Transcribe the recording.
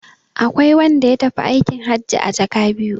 Akwai wanda ya tafi aikin hajji a jaka biyu.